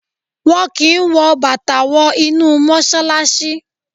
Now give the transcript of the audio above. Wọ́n kí n wọ Bàtà wọ inú Mọ́ṣálásí.